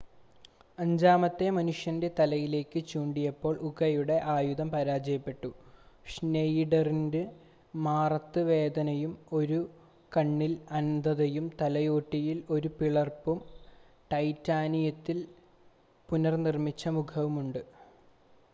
അഞ്ചാമത്തെ മനുഷ്യൻ്റെ തലയിലേക്ക് ചൂണ്ടിയപ്പോൾ ഉകയുടെ ആയുധം പരാജയപ്പെട്ടു ഷ്‌നെയിഡറിന് മാറത്ത വേദനയും ഒരു കണ്ണിൽ അന്ധതയും തലയോട്ടിയിൽ ഒരു പിളർപ്പും ടൈറ്റാനിയത്തിൽ പുനർനിർമ്മിച്ച മുഖവുമുണ്ട്